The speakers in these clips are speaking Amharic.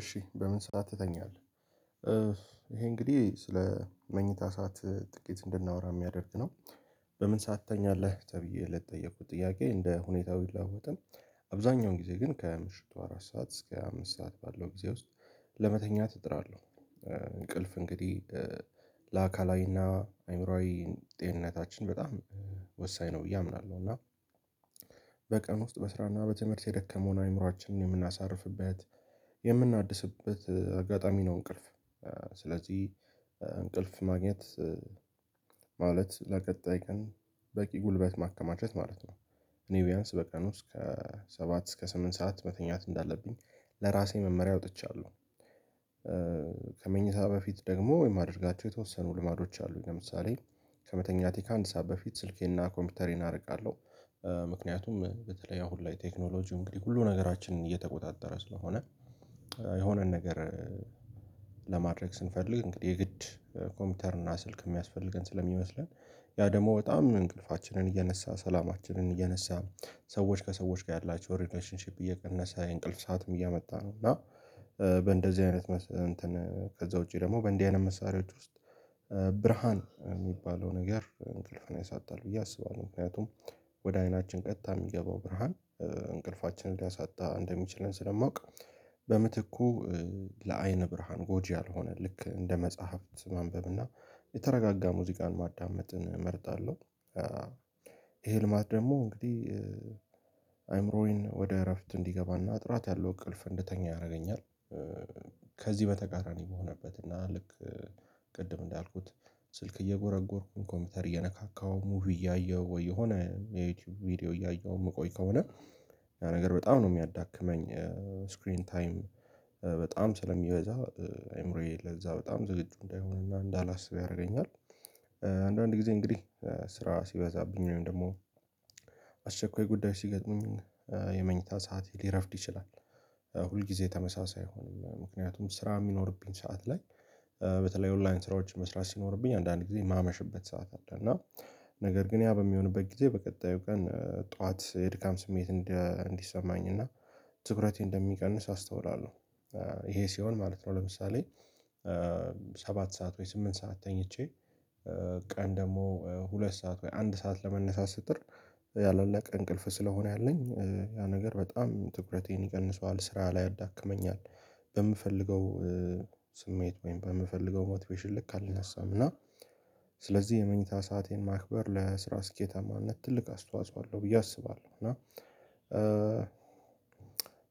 እሺ በምን ሰዓት ትተኛለህ? ይሄ እንግዲህ ስለ መኝታ ሰዓት ጥቂት እንድናወራ የሚያደርግ ነው። በምን ሰስት ትተኛለህ ተብዬ ለተጠየኩት ጥያቄ እንደ ሁኔታው ብለዋወጥም። አብዛኛውን ጊዜ ግን ከምሽቱ አራት ሰዓት እስከ አምስት ሰዓት ባለው ጊዜ ውስጥ ለመተኛት እጥራለሁ። እንቅልፍ እንግዲህ ለአካላዊና አይምሮአዊ ጤንነታችን በጣም ወሳኝ ነው ብዬ አምናለሁ። እና በቀን ውስጥ በስራና በትምህርት የደከመውን አእምሮአችንን የምናሳርፍበት የምናድስበት አጋጣሚ ነው እንቅልፍ ስለዚህ እንቅልፍ ማግኘት ማለት ለቀጣይ ቀን በቂ ጉልበት ማከማቸት ማለት ነው። እኔ ቢያንስ በቀን ውስጥ ከሰባት እስከ ስምንት ሰዓት መተኛት እንዳለብኝ ለራሴ መመሪያ አውጥቻለሁ። ከመኝታ በፊት ደግሞ የማደርጋቸው የተወሰኑ ልማዶች አሉኝ ለምሳሌ ከመተኛቴ ከአንድ ሰዓት በፊት ስልኬና ኮምፒውተሬን አርቃለሁ። ምክንያቱም በተለይ አሁን ላይ ቴክኖሎጂው እንግዲህ ሁሉ ነገራችንን እየተቆጣጠረ ስለሆነ የሆነን ነገር ለማድረግ ስንፈልግ የግድ ኮምፒውተር እና ስልክ የሚያስፈልገን ስለሚመስለን ያ ደግሞ በጣም እንቅልፋችንን እየነሳ ሰላማችንን እየነሳ ሰዎች ከሰዎች ጋር ያላቸው ሪሌሽንሺፕ እየቀነሰ የእንቅልፍ ሰዓትም እያመጣ ነው። እና በእንደዚህ አይነት እንትን ከዚያ ውጪ ደግሞ በእንዲህ አይነት መሳሪያዎች ውስጥ ብርሃን የሚባለው ነገር እንቅልፌን ያሳጣል ብዬ አስባለሁ ምክንያቱም ወደ አይናችን ቀጥታ የሚገባው ብርሃን እንቅልፋችንን ሊያሳጣ እንደሚችለን ስለማውቅ በምትኩ ለአይን ብርሃን ጎጂ ያልሆነ ልክ እንደ መጽሐፍት ማንበብ እና የተረጋጋ ሙዚቃን ማዳመጥን እመርጣለሁ። ይሄ ልማድ ደግሞ እንግዲህ አይምሮዬን ወደ እረፍት እንዲገባና ጥራት ያለው እቅልፍ እንድተኛ ያደርገኛል። ከዚህ በተቃራኒ በሆነበት እና ልክ ቅድም እንዳልኩት ስልክ እየጎረጎርኩኝ ኮምፒውተር እየነካካሁ ሙቪ እያየሁ ወይ የሆነ የዩቲዩብ ቪዲዮ እያየሁ የምቆይ ከሆነ ያ ነገር በጣም ነው የሚያዳክመኝ። ስክሪን ታይም በጣም ስለሚበዛ አይምሮዬ ለዚያ በጣም ዝግጁ እንዳይሆንና እንዳላስብ ያደርገኛል። አንዳንድ ጊዜ እንግዲህ ስራ ሲበዛብኝ ወይም ደግሞ አስቸኳይ ጉዳይ ሲገጥሙኝ የመኝታ ሰዓቴ ሊረፍድ ይችላል። ሁል ጊዜ ተመሳሳይ አይሆንም ምክንያቱም ስራ የሚኖርብኝ ሰዓት ላይ በተለይ ኦንላይን ስራዎች መስራት ሲኖርብኝ አንዳንዴ የማመሽበት ሰዓት አለ እና ነገር ግን ያ በሚሆንበት ጊዜ በቀጣዩ ቀን ጠዋት የድካም ስሜት እንዲሰማኝ እና ትኩረቴ እንደሚቀንስ አስተውላለሁ። ይሄ ሲሆን ማለት ነው ለምሳሌ ሰባት ሰዓት ወይ ስምንት ሰዓት ተኝቼ ቀን ደግሞ ሁለት ሰዓት ወይ አንድ ሰዓት ለመነሳት ስጥር ያላለቀ እንቅልፍ ስለሆነ ያለኝ ያ ነገር በጣም ትኩረቴን ይቀንሰዋል ስራ ላይ ያዳክመኛል። በምፈልገው ስሜት ወይም በምፈልገው ሞቲቬሽን ልክ አልነሳም እና ስለዚህ የመኝታ ሰአቴን ማክበር ለስራ ስኬታማነት ትልቅ አስተዋጽኦ አለው ብዬ አስባለሁ። እና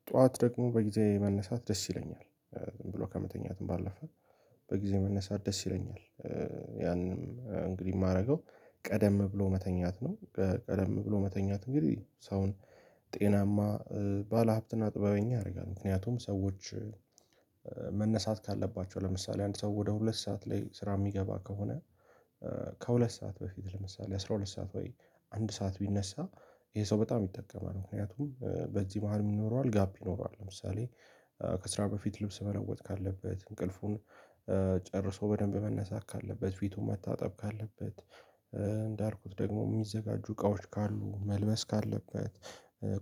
ጠዋት ደግሞ በጊዜዬ መነሳት ደስ ይለኛል ዝም ብሎ ከመተኛትም ባለፈ በጊዜ መነሳት ደስ ይለኛል ያንንም እንግዲህ የማደርገው ቀደም ብሎ መተኛት ነው ቀደም ብሎ መተኛት እንግዲህ ሰውን ጤናማ ባለሀብትና ጥበበኛ ያደርጋል። ምክንያቱም ሰዎች መነሳት ካለባቸው ለምሳሌ አንድ ሰው ወደ ሁለት ሰዓት ላይ ስራ የሚገባ ከሆነ ከሁለት ሰዓት በፊት ለምሳሌ አስራ ሁለት ሰዓት ወይ አንድ ሰዓት ቢነሳ ይሄ ሰው በጣም ይጠቀማል ምክንያቱም በዚህ መሃል ምን ይኖረዋል ጋፕ ይኖረዋል ለምሳሌ ከስራ በፊት ልብስ መለወጥ ካለበት እንቅልፉን ጨርሶ በደንብ መነሳት ካለበት ፊቱን ማታጠብ ካለበት እንዳልኩት ደግሞ የሚዘጋጁ እቃዎች ካሉ መልበስ ካለበት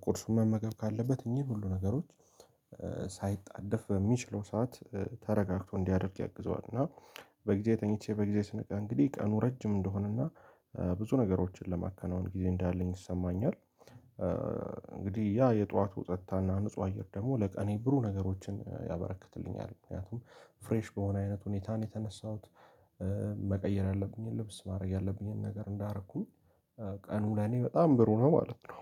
ቁርሱን መመገብ ካለበት እኚህን ሁሉ ነገሮች ሳይጣደፍ በሚችለው ሰዓት ተረጋግቶ እንዲያደርግ ያግዘዋል። እና በጊዜ ተኝቼ በጊዜ ስነቀ እንግዲህ ቀኑ ረጅም እንደሆነ እና ብዙ ነገሮችን ለማከናወን ጊዜ እንዳለኝ ይሰማኛል እንግዲህ ያ የጠዋቱ ጸጥታና ንጹህ አየር ደግሞ ለቀኔ ብሩ ነገሮችን ያበረክትልኛል ምክንያቱም ፍሬሽ በሆነ አይነት ሁኔታ ነው የተነሳሁት መቀየር ያለብኝን ልብስ ማድረግ ያለብኝን ነገር እንዳረኩኝ ቀኑ ለኔ በጣም ብሩ ነው ማለት ነው።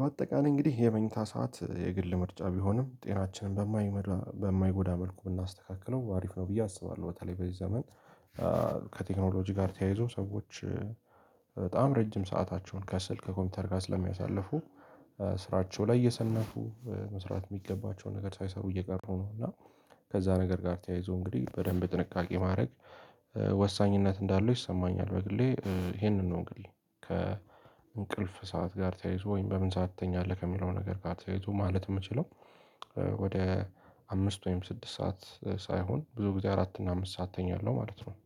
በአጠቃላይ እንግዲህ የመኝታ ሰዓት የግል ምርጫ ቢሆንም ጤናችንን በማይመድ በማይጎዳ መልኩ ብናስተካክለው አሪፍ ነው ብዬ አስባለሁ። በተለይ በዚህ ዘመን ከቴክኖሎጂ ጋር ተያይዞ ሰዎች በጣም ረጅም ሰአታቸውን ከስልክ ከኮምፒውተር ጋር ስለሚያሳልፉ ስራቸው ላይ እየሰነፉ መስራት የሚገባቸውን ነገር ሳይሰሩ እየቀሩ ነው እና ከዚያ ነገር ጋር ተያይዞ እንግዲህ በደንብ ጥንቃቄ ማድረግ ወሳኝነት እንዳለው ይሰማኛል። በግሌ ይሄንን ነው እንግዲህ ከእንቅልፍ ሰዓት ጋር ተያይዞ ወይም በምን ሰዓት ትተኛለህ ከሚለው ነገር ጋር ተያይዞ ማለት የምችለው። ወደ አምስት ወይም ስድስት ሰዓት ሳይሆን ብዙ ጊዜ አራት እና አምስት ሰዓት እተኛለሁ ማለት ነው።